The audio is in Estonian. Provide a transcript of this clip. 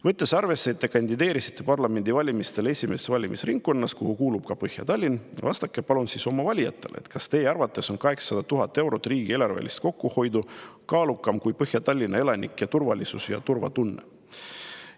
Võttes arvesse, et te kandideerisite parlamendivalimistel esimeses valimisringkonnas, kuhu kuulub ka Põhja-Tallinn, vastake palun oma valijatele, kas teie arvates on 800 000 eurot riigieelarvelist kokkuhoidu kaalukam kui Põhja-Tallinna elanike turvalisus ja turvatunne?